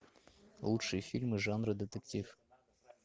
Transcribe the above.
лучшие фильмы жанра детектив